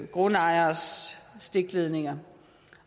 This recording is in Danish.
grundejeres stikledninger